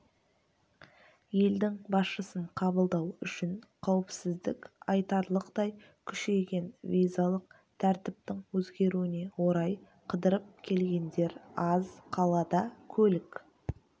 елдің басшысын қабылдау үшін қауіпсіздік айтарлықтай күшейген визалық тәртіптің өзгеруіне орай қыдырып келгендер аз қалада көлік